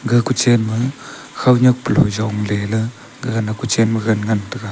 ga kuchen ma khawnyak palo yongleyla gagana kuchen magan ngan taiga.